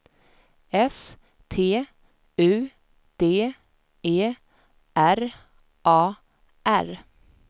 S T U D E R A R